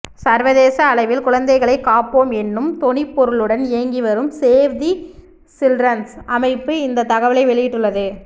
சர்வதேச அளவில் குழந்தைகளைக் காப்போம் என்னும் தொனிப் பொருளுடன் இயங்கிவரும் சேவ் தி சில்ட்ரன்ஸ் அமைப்பு இந்த தகவலை வெளியிட்டுள்ளது